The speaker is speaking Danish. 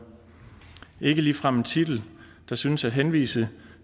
ikke ligefrem en titel der synes at henvise